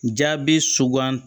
Jaabi sugandi